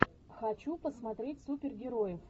хочу посмотреть супергероев